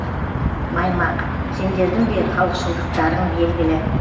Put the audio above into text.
маймақ сендердің де халықшылдықтарың белгілі